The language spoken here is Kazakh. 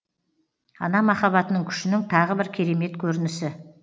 ана махаббатының күшінің тағы бір керемет көрінісі